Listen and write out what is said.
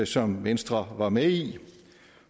som venstre var med i